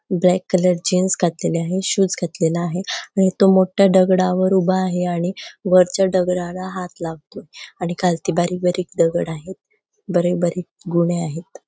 Black colour jeans घातलेली आहे आणि शूज घातलेला आहे आणि तो मोठ्ठा दगडावर उभा आहे आणि वरच्या दगडाला हात लावतो आणि खालती बारीक बारीक दगड आहेत बारीक बारीक गुणे आहेत.